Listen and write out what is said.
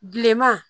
Bilenman